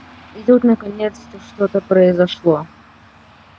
и тут наконец-то что-то произошло